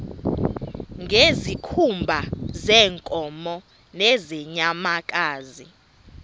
ngezikhumba zeenkomo nezeenyamakazi